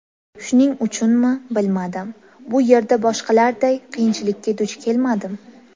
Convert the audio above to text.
Shuning uchunmi, bilmadim, bu yerda boshqalarday qiyinchilikka duch kelmadim.